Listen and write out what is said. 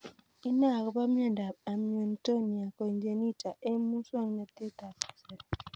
Inae akopo miondop Amyotonia congenita eng' muswognatet ab kasari